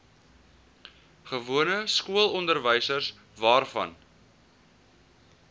gewone skoolonderwys waarvan